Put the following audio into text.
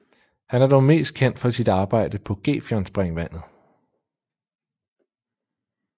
Han er dog mest kendt for sit arbejde på Gefionspringvandet